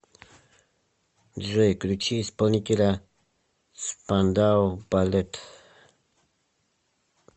джой включи исполнителя спандау балет